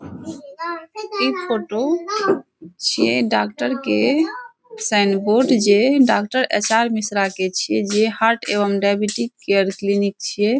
इ फोटो छीये जे डॉक्टर के साइन बोर्ड जे डॉक्टर एच.आर. मिश्रा के छीये जे हार्ट एवं डायबिटीज केयर क्लीनिक छीये।